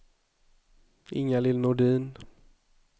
Inga-Lill Nordin